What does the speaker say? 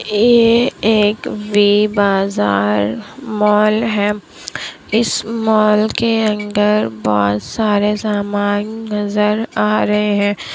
ये एक वी बाजार मॉल है इस मॉल के अंदर बहुत सारे समान नजर आ रहे हैं।